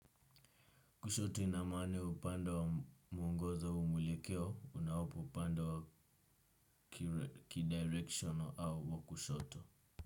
Kushota ina maana ya upande wa muongozo au mwelekeo unaopo upande wa ki directional au wa kushoto.